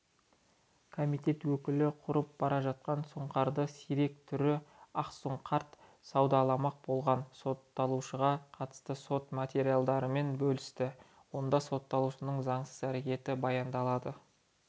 комитет өкілі құрып бара жатқан сұңқардың сирек түрі ақсұңқард саудаламақ болған сотталушыға қатысты сот материалдарымен бөлісті онда сотталушының заңсыз әрекеті баяндалады